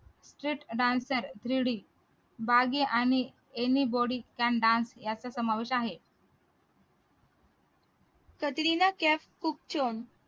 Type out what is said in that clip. street dancer three d Baaghi आणि any buddy can dance यांचा समावेश आहे